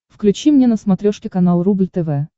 включи мне на смотрешке канал рубль тв